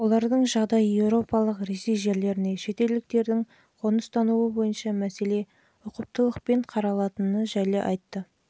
да бар екендігін және олардың жағдайы еуропалық ресей жерлеріне шетелдіктердің қоныстану бойынша мәселе ұқыптылықпен қаралатыны